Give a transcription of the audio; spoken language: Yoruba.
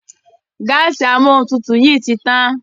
Gáàsì Amóhuntutù yí tí tán.